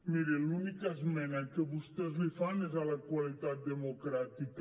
miri l’única esmena que vostès fan és a la qualitat democràtica